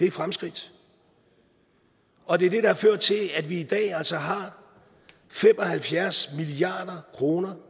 et fremskridt og det er det der har ført til at vi i dag altså har fem og halvfjerds milliard kroner